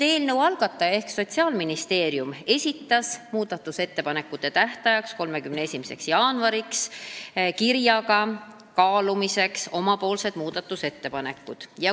Eelnõu algataja ehk Sotsiaalministeerium esitas kirja teel muudatusettepanekute tähtajaks, 31. jaanuariks kaalumiseks oma muudatusettepanekud.